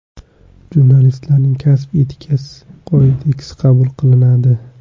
Jurnalistlarning Kasb etikasi kodeksi qabul qilinadi.